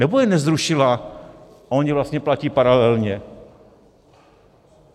Nebo je nezrušila a ona vlastně platí paralelně?